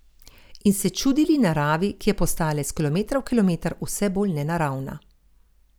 In se čudili naravi, ki je postajala iz kilometra v kilometer vse bolj nenaravna.